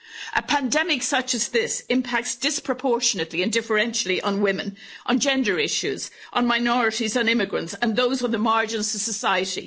A pandemic such as this impacts disproportionately and differentially on women, on gender issues, on minorities and immigrants and those on the margins of society.